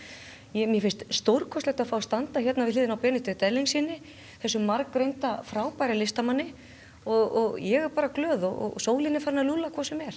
mér finnst stórkostlegt að standa við hliðina á Benedikt Erlingssyni þessum margreynda og frábæra listamanni og ég er bara glöð og sólin er farin að lúlla hvort sem er